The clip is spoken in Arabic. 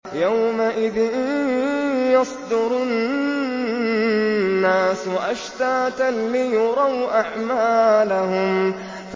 يَوْمَئِذٍ يَصْدُرُ النَّاسُ أَشْتَاتًا لِّيُرَوْا أَعْمَالَهُمْ